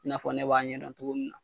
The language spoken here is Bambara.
N'a fɔ ne b'a ɲɛdɔn cogo min na